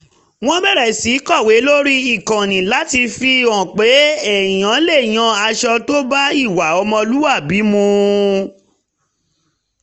wọ́n bẹ̀rẹ̀ sí kọ̀wé lórí ìkànnì láti fi hàn pé èèyàn lè yan aṣọ tó bá ìwà ọmọlúwàbí mu